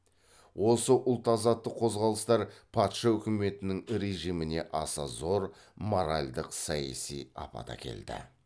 осы ұлт азаттық қозғалыстар патша үкіметінің режиміне аса зор моральдық саяси апат әкелді